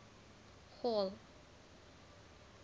hall